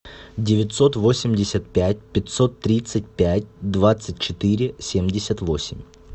девятьсот восемьдесят пять пятьсот тридцать пять двадцать четыре семьдесят восемь